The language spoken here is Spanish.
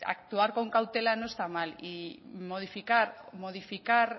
actuar con cautela no está mal y modificar modificar